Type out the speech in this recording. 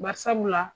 Bari sabula